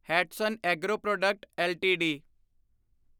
Hatsun agro product LTD